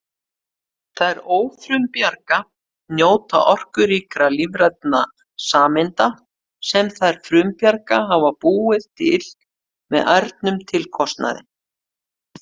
Þær ófrumbjarga njóta orkuríkra lífrænna sameinda sem þær frumbjarga hafa búið til með ærnum tilkostnaði!